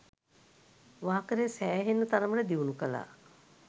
වාකරේ සෑහෙන්න තරමට දියුණු කළා.